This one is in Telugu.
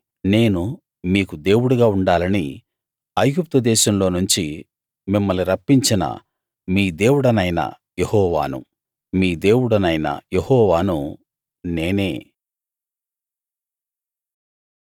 నేను మీకు దేవుడుగా ఉండాలని ఐగుప్తు దేశంలో నుంచి మిమ్మల్ని రప్పించిన మీ దేవుడనైన యెహోవాను మీ దేవుడనైన యెహోవాను నేనే